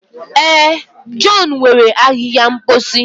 Ee, john were ahịhịa mposi.